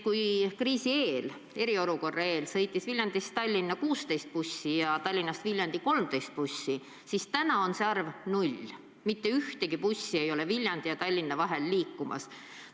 Kui enne kriisi, enne eriolukorda sõitis Viljandist Tallinna 16 bussi ja Tallinnast Viljandisse 13 bussi, siis nüüd on see arv 0: mitte ühtegi bussi ei ole Viljandi ja Tallinna vahel liikumas.